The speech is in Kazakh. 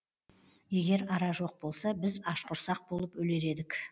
егер ара жоқ болса біз ашқұрсақ болып өлер едік